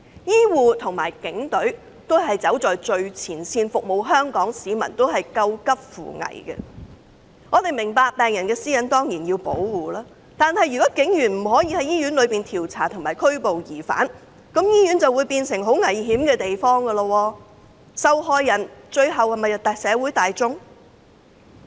醫護與警隊均走在最前線服務香港市民，他們都在救急扶危。我們明白，我們當然需要保護病人私隱，但如警員不可在醫院內進行調查及拘捕疑犯，醫院便會變成很危險的地方，最終受害的是社會大眾。